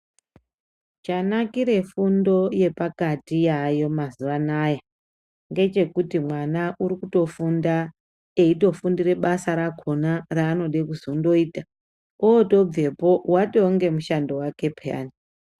Chanakire fundo yepakati yayo mazuva anaya. Ngechekuti mwana uri kutofunda eitofundire basa rakona raanode kuzondoita, otobvepo vatone mushando vake peyani.